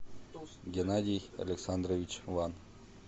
геннадий александрович ван